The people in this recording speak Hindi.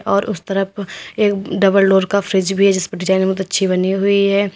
और उस तरफ एक डबल डोर का फ्रिज भी है जिसपे डिजाइन बहुत अच्छी बनी हुई है।